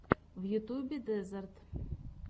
в ютубе дезерт